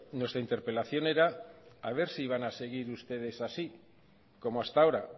nuestra interpelación era a ver si iban a seguir ustedes así como hasta ahora